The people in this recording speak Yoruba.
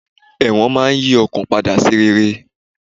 Ẹ̀wọ̀n máa yí àwọn kan padà sí rere